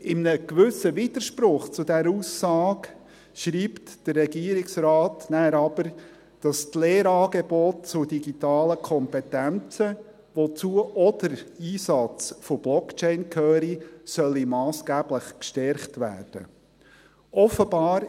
In einem gewissen Widerspruch zu dieser Aussage schreibt der Regierungsrat danach aber, dass die Lehrangebote zu digitalen Kompetenzen, wozu auch der Einsatz von Blockchain gehört, massgeblich gestärkt werden sollte.